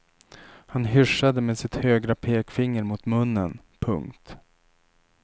Han hyssjade med sitt högra pekfinger mot munnen. punkt